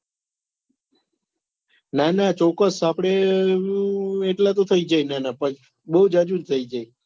નાના ચોક્કસ આપડે એટલા તો થઈ જ જાય આના પર બહુ જાજુ થઈ જાય